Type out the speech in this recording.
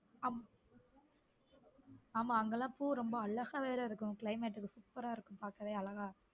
ஆமா ஆமா அங்கெல்லாம் பூ ரொம்ப அழகாவே இருக்கும் climate super ரா இருக்கும் பாக்கவே அழகா.